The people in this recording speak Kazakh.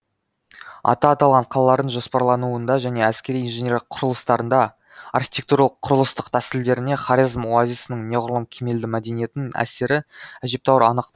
аты аталған қалалардың жоспарлануында және әскери инженерлік құрылыстарында архитектуралық құрылыстық тәсілдерінде хорезм оазисінің неғұрлым кемелді мәдениетінің әсері әжептеуір анық